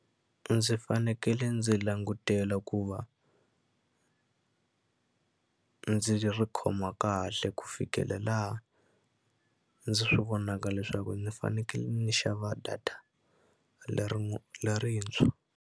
Ndzi fanekele ndzi langutela ku va ndzi ri khoma kahle ku fikela laha ndzi swi vonaka leswaku ndzi fanekele ndzi xava data leri lerintshwa.